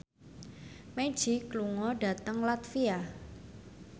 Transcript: Magic lunga dhateng latvia